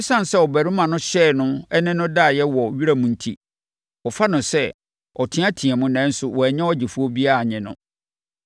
Esiane sɛ ɔbarima no hyɛɛ no ne no daeɛ wɔ wiram enti, wɔfa no sɛ, ɔteateaam nanso wannya ɔgyefoɔ biara annye no.